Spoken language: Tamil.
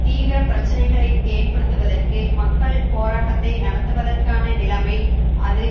தீவிர பிரச்சினைகளை ஏற்படுத்துவதற்கு மக்கள் போராட்டத்தை நடத்துவதற்கான நிலைமை அது